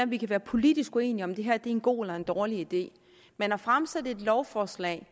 vi kan være politisk uenige om hvorvidt det her er en god eller en dårlig idé men at fremsætte et lovforslag